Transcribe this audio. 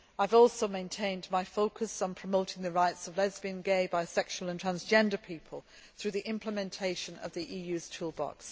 I have also maintained my focus on promoting the rights of lesbian, gay, bisexual and transgender people through the implementation of the EU's toolbox.